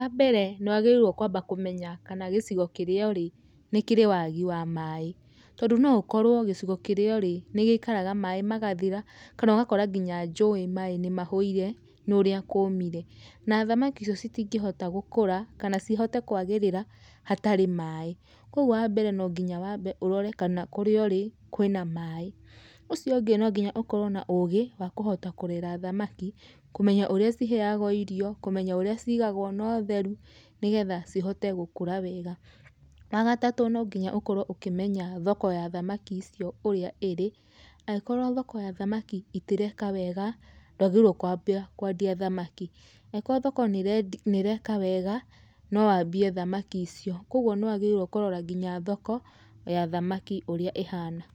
Wambere nĩwagĩrĩirwo kwamba kũmenya kana gĩcigo kĩrĩa ũrĩ nĩ kĩrĩ wagi wa maaĩ, tondũ no ũkorwo gĩcigo kĩrĩa ũrĩ nĩ gĩikaraga maaĩ magathira kana ũgakora ngina njũĩ maaĩ nĩmahũire nĩ ũria kũmire, na thamaki icio citingĩhota gũkũra kana cihote kwagĩrĩra hatarĩ maaĩ, kwogwo wambere nonginya wambe ũrore kana kũrĩa ũrĩ kũrĩ na maaĩ. Ũcio ũngĩ nonginya ũkorwo na ũgĩ wa kũhota kũrera thamaki, kũmenya ũrĩa ciheyagwo irio, kũmenya ũrĩa cigagwo notheru nĩgetha cihote gũkũra wega. Wagatatũ nonginya ũkorwo ũkĩmenya thoko ya thamaki icio ũrĩa ĩrĩ, agĩkorwo thoko ya thamaki itireka wega, ndwagĩrĩirwo kwambia kwandia thamaki, angĩkorwo thoko nĩ ĩreka wega nowambie thamaki icio. Kwoguo nĩwagĩrĩirwo kũrora nginya thoko ya thamaki ũrĩa ĩhana.